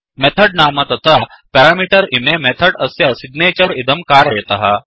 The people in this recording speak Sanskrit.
मेथड् नाम तथा पेरामीटर् इमे मेथड् अस्य सिग्नेचर् इदं कारयतः